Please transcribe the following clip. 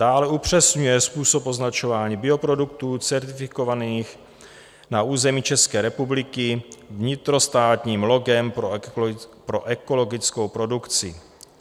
Dále upřesňuje způsob označování bioproduktů certifikovaných na území České republiky vnitrostátním logem pro ekologickou produkci.